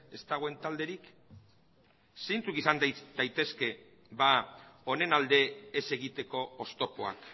ez dagoen talderik zeintzuk izan daitezke honen alde ez egiteko oztopoak